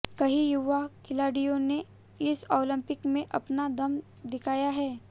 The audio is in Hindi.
कई युवा खिलाड़ियों ने इस ओलिंपिक में अपना दम दिखाया है